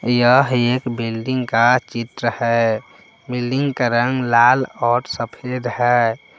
यह एक बिल्डिंग का चित्र है बिल्डिंग का रंग लाल और सफेद है।